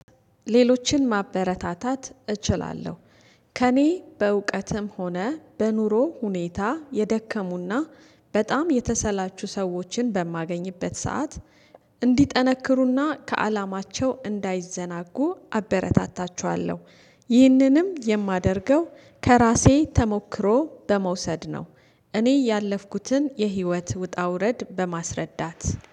ሌሎችን ማበረታታት እችላለሁ፤ ከእኔ በእውቀትም ሆነ በኑሮ ሁኔታ የደከሙና በጣም የተሰላቹ ሰዎችን በማገኝበት ሰዓት እንዲጠነክሩና ከአላማቸው እንዳይዘናጉ አበረታታቸዋለሁ፤ ይህንንም የማደርገው ከራሴ ተሞክሮ በመውሰድ ነው እኔ ያለፍኩትን የህይወት ውጣ ውረድ በማስረዳት።